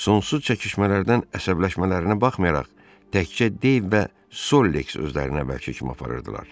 Sonsuz çəkişmələrdən əsəbləşmələrinə baxmayaraq təkcə Deyv və Sox özlərini əvvəlki kimi aparırdılar.